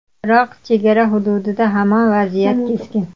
Biroq chegara hududida hamon vaziyat keskin.